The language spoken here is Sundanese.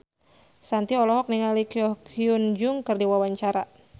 Shanti olohok ningali Ko Hyun Jung keur diwawancara